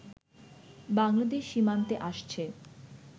বাংলাদেশ সীমান্তে আসছে